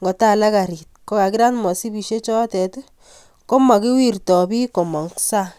ngotalak gariit kokakirat msipisyekkomakiwirtoi biik komong' sang'.